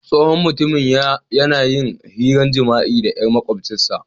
Tsohon mutumin ya na yin hiran jima'i da yar maƙwabcin sa.